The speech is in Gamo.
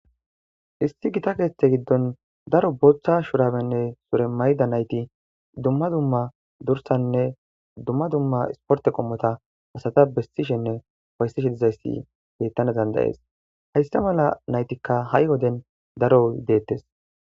Issi Gita keeththa giddon daro booththa shurabenne sure mayida nayti dumma dumma dursane isportte oththiza Asati dizayssa betana danda'es hayssa mala naytikka ha'i woden daro deetees.